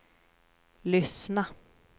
lyssna